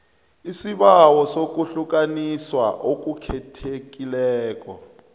isibawo sokuhlukaniswa okukhethekileko